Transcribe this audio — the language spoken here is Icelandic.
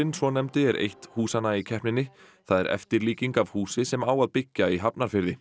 svonefndi er eitt húsanna í keppninni það er eftirlíking af húsi sem á að byggja í Hafnarfirði